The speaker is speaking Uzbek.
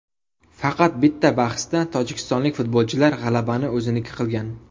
Faqat bitta bahsda tojikistonlik futbolchilar g‘alabani o‘ziniki qilgan.